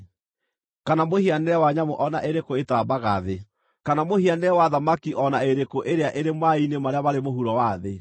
kana mũhianĩre wa nyamũ o na ĩrĩkũ ĩtambaga thĩ, kana mũhianĩre wa thamaki o na ĩrĩkũ ĩrĩa ĩrĩ maaĩ-inĩ marĩa marĩ mũhuro wa thĩ.